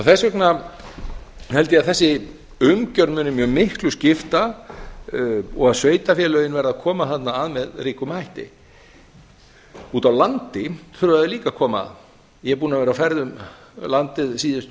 þess vegna held ég að þessi umgjörð muni mjög miklu skipta og að sveitarfélögin verði að koma þarna að með ríkum hætti úti á landi þurfa þau líka að koma að ég er búinn að vera á ferð um landið síðustu